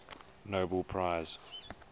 nobel prize